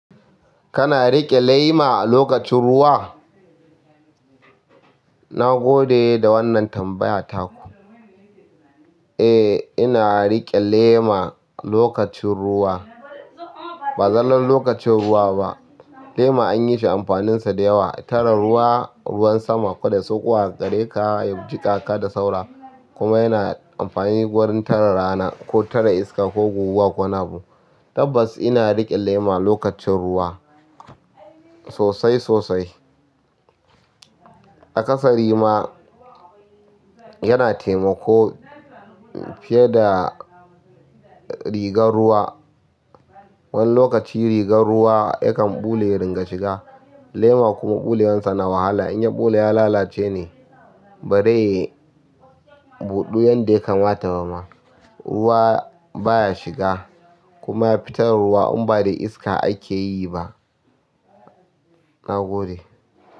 Kana riƙe lema a lokacin ruwa? Na gode da wannan tambaya taku. Eh, ina riƙe lema lokacin ruwa. Ba zallon lokacin ruwa ba, lema an yi shi amfaninsa da yawa. Tare ruwa, ruwan sama, ƙwaɗa, sokowa, tareka ya jikaka da saura. Kuma yana amfani wurin tara rana ko tara iska ko guguwa ko nabo. Tabbas ina riƙe lema lokacin ruwa sosai sosai. A ƙasari ma yana taimako fiye da rigar ruwa. Wani lokaci rigar ruwa yakan ɓule ya ringa shiga. Lema kuma ɓulewansa na wahala. In ya ɓule ya lalace ne. Barai buɗuwan da ya kamata ba ma, ruwa baya shiga. Kuma fitar ruwa in ba da iska ake yi ba. Na gode.